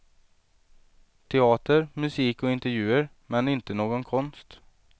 Teater, musik och intervjuer men inte någon konst.